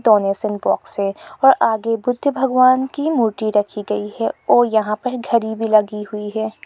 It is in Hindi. डोनेशन बॉक्स है और आगे बुद्ध भगवान की मूर्ति रखी गई है और यहां पर घड़ी भी लगी हुई है।